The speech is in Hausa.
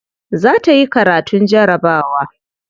Za ta yi karatun jarabawa.